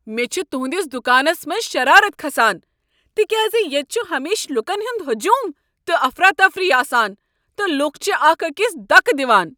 مےٚ چُھ تُہندِس دکانس منٛز شرارت کھسان تکیازِ ییٚتہ چھ ہمیشہٕ لوٗكن ہٖند ہجوم تہٕ افراتفری آسان، تہٕ لوٗکھ چھِ اکھ أکس دکہٕ دِوان ۔